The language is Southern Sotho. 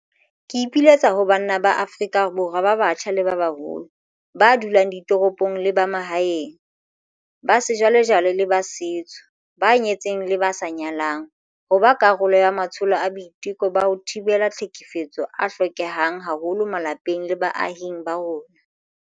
Ke ipiletsa ho banna ba Afrika Borwa ba batjha le ba baholo, ba dulang ditoropong le ba mahaeng, ba sejwalejwale le ba setso, ba nyetseng le ba sa nyalang, ho ba karolo ya matsholo a boiteko ba ho thibela tlhekefetso a hlokehang haholo malapeng le baahing ba rona.